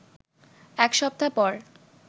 এক সপ্তাহ পর